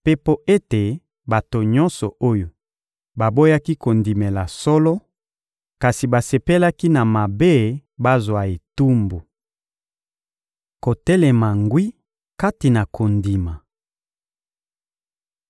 mpe mpo ete bato nyonso oyo baboyaki kondimela solo kasi basepelaki na mabe bazwa etumbu. Kotelema ngwi kati na kondima